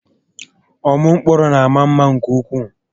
Ọmụ mkpụrụ na àmà mma nke ukwuu.